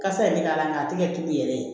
Kasa yɛrɛ bɛ k'a la nka a tɛ kɛ tulu yɛrɛ ye